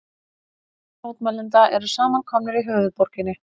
Þúsundir mótmælenda eru samankomnar í höfuðborginni